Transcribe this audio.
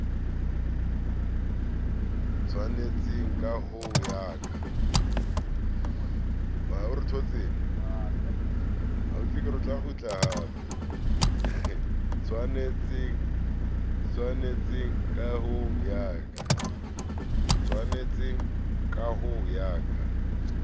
tshwanetseng ka ho ya ka